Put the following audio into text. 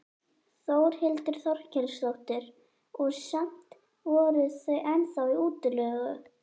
Þórhildur Þorkelsdóttir: Og samt voru þau ennþá í útleigu?